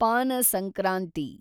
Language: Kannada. ಪಾನ ಸಂಕ್ರಾಂತಿ